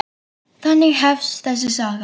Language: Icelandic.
Þannig hefst þessi saga.